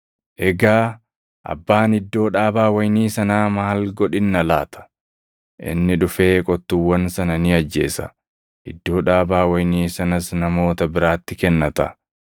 “Egaa abbaan iddoo dhaabaa wayinii sanaa maal godhinna laata? Inni dhufee qottuuwwan sana ni ajjeesa; iddoo dhaabaa wayinii sanas namoota biraatti kennata.